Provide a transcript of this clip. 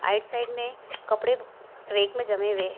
right side में कपड़े rack में जमें हुए --